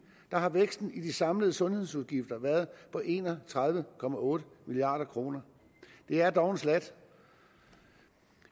har væksten i de samlede sundhedsudgifter været på en og tredive milliard kroner det er dog en slat